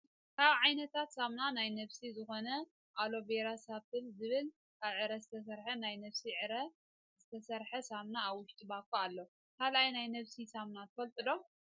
ካብ ዓይነታት ሳምና ናይ ነብሲ ዝኮኑ ኣሎ ቬራ ሶፕ ዝብል ካብ ዕረ ዝተሰርሐ ናይ ነብሲ ዕረ ዝየሰርሐ ሳምና ኣብ ውሽጢ ባኾ ኣሎ። ካልኦይ ናይ ነብሲ ሳምና ትፈልጡ ዶ?